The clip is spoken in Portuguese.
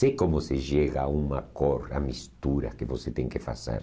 Sei como se chega a uma cor, a mistura que você tem que fazer.